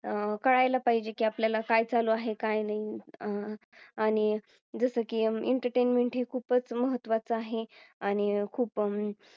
अह कळायला पाहिजे की आपल्याला काय चालू आहे काय नाही आहे आणि जसं की Entertainment ही खूपच महत्वाचा आहे आणि खूप अह